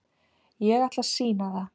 Ég ætla að sýna það.